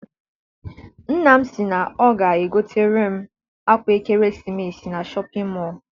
Nna m si na ọ ga egotere m akwa ekeresimesi na Shọpịn mọọ.